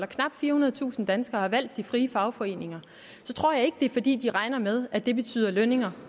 knap firehundredetusind danskere har valgt de frie fagforeninger tror jeg ikke det er fordi de regner med at det betyder lønninger